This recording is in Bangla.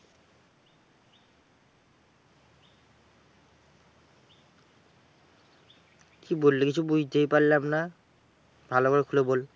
কি বললি কিছুই বুঝতেই পারলাম না? ভালো করে খুলে বল?